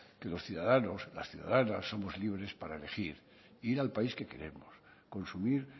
que los ciudadanos las ciudadanas somos libres para elegir e ir al país que queremos consumir